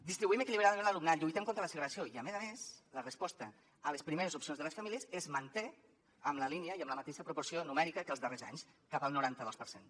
distribuïm equilibradament l’alumnat lluitem contra la segregació i a més a més la resposta a les primeres opcions de les famílies es manté en la línia i amb la mateixa proporció numèrica que els darrers anys cap al noranta dos per cent